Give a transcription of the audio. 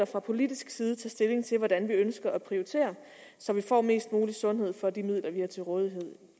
fra politisk side tage stilling til hvordan vi ønsker at prioritere så vi får mest mulig sundhed for de midler vi har til rådighed